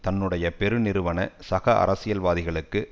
தன்னுடைய பெரு நிறுவன சக அரசியல் வாதிகளுக்கு